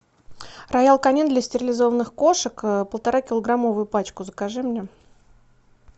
роял канин для стерилизованных кошек полуторакилограммовую пачку закажи мне